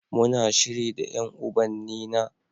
Muna shiri da ƴan ubannina.